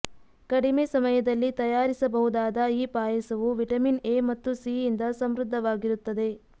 ಕಡಿಮೆ ಸಮಯದಲ್ಲಿ ತಯಾರಿಸಬಹುದಾದ ಈ ಪಾಯಸವು ವಿಟಮಿನ್ ಎ ಮತ್ತು ಸಿ ಯಿಂದ ಸಮೃದ್ಧವಾಗಿರುತ್ತದೆ